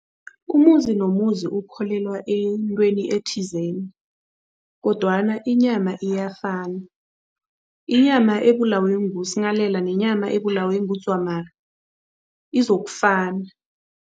Umuzi nomuzi ukholelwa entweni ethizeni kodwana inyama iyafana. Inyama ebulawe nguSinghalela nenyama ebulawe nguDzwamari izokufana.